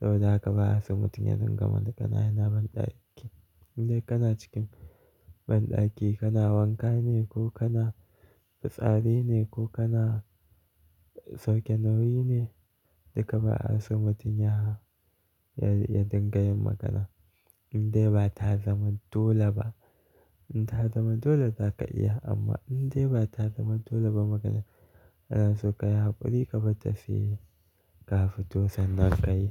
Saboda haka ba'a so mutum ya dinga magana yana banɗaki. In dai kana cikin banɗaki kana wanka ne ko kana fitsari ne ko kana sauke nauyi ne duka ba'a so mutum ya ya dinga yin magana. In dai ba ta zaman dole ba. In ta zaman dole zaka iya amma in dai ba ta zama dole ba magana, anaso kayi hakuri ka barta sai ka fito sannan ka yi.